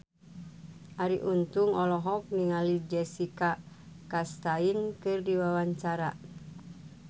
Arie Untung olohok ningali Jessica Chastain keur diwawancara